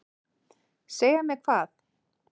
Segja mér hvað?